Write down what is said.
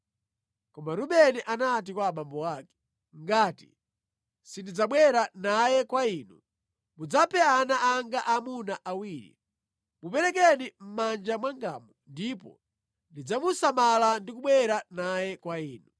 Koma Rubeni anati kwa abambo ake, “Ngati sindidzabwera naye kwa inu, mudzaphe ana anga aamuna awiri. Muperekeni mʼmanja mwangamu ndipo ndidzamusamala ndi kubwera naye kwa inu.”